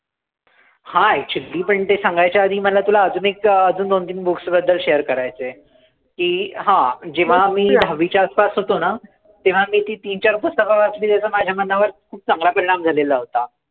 हां actually पण ते सांगायच्या आधी मला तुला अजून एक, अजून दोन-तीन books बद्दल share करायचंय की, हां जेंव्हा मी दहावीच्या आसपास होतो ना, तेंव्हा मी ती तीन-चार पुस्तकं वाचली ज्यांचा माझ्या मनावर खूप चांगला परिणाम झालेला होता.